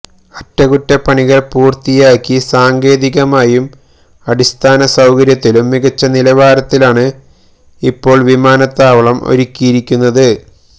അറ്റകുറ്റപ്പണികള് പൂര്ത്തിയാക്കി സാങ്കേതികമായും അടിസ്ഥാനസൌകര്യത്തിലും മികച്ച നിലവാരത്തിലാണ് ഇപ്പോള് വിമാനത്താവളം ഒരുക്കിയിരിക്കുന്നത്